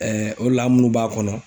ode la anw minnu b'a kɔnɔ.